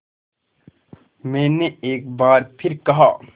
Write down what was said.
मैंने एक बार फिर कहा